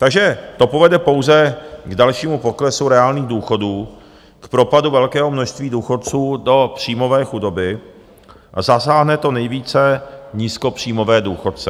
Takže to povede pouze k dalšímu poklesu reálných důchodů, k propadu velkého množství důchodců do příjmové chudoby a zasáhne to nejvíce nízkopříjmové důchodce.